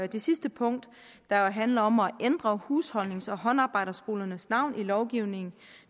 det sidste punkt der handler om at ændre husholdnings og håndarbejdsskolernes navn i lovgivningen